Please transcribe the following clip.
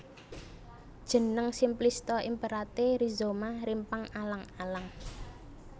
Jeneng Simplista Imperatae Rhizoma rimpang alang alang